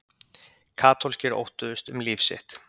Katólskir óttuðust um líf sitt.